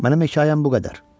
Mənim hekayəm bu qədər.